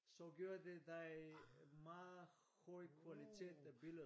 Så giver det dig meget høj kvalitet af billedet